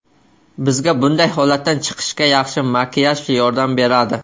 Bizga bunday holatdan chiqishga yaxshi makiyaj yordam beradi.